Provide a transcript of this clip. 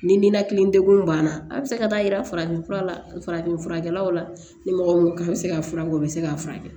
Ni ninakili degun banna a bi se ka taa yira farafin fura la farafin furakɛlaw la ni mɔgɔ bɛ se ka fura kɛ o bɛ se k'a furakɛ